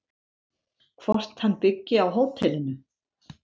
Hvort hann byggi á hótelinu?